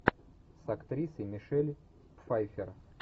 с актрисой мишель пфайффер